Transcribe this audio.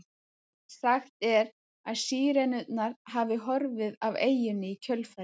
Sagt er að Sírenurnar hafi horfið af eyjunni í kjölfarið.